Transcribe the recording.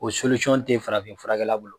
O tɛ fanafin furakɛla bolo